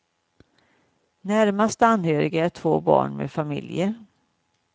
Närmast anhöriga är två barn med familjer.